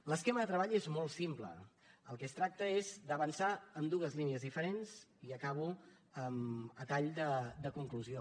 l’esquema de treball és molt simple el que es tracta és d’avançar en dues línies diferents i acabo a tall de conclusió